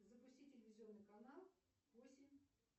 запусти телевизионный канал восемь